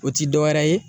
O ti dɔwɛrɛ ye